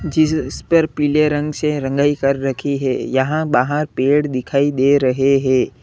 जिस इस पर पीले रंग से रंगाई कर रखी है यहां बाहर पेड़ दिखाई दे रहे हैं।